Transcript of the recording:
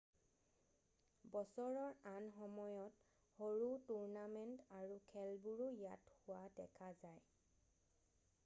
বছৰৰ আন সময়ত সৰু টুৰ্ণামেণ্ট আৰু খেলবোৰো ইয়াত হোৱা দেখা যায়